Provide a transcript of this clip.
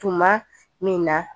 Tuma min na